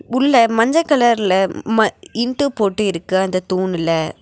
உள்ள மஞ்ச கலர்ல ம இண்டு போட்டு இருக்கு அந்த தூண்னுல.